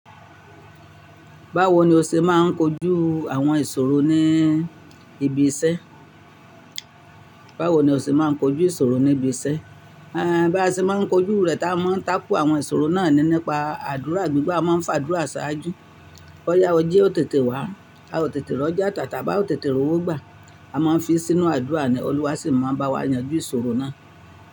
Báwo ni o ṣe máa ń kojú àwọn ìṣòro ní ibi iṣẹ́? Báwo ni o ṣe máa ń kojú ìṣòro ní ibi iṣẹ́? Bá ti máa ń kojú rẹ̀ táa máa ń takú àwọn ìṣòro náà ni nípa àdúrà. Gbigba a máa ń fa àdúrà ṣáájú. Ó yá ọ jí ó tètè wá, a ó tètè rọ́jà tàtàbí a ó tètè rówó gbà, a máa ń fi sínú àdúrà ni, Olúwa sì máa ń bá wa yanjú ìṣòro náà.